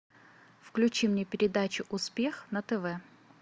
включи мне передачу успех на тв